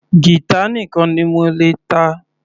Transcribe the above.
Guitar nìkan ni mo lè ta.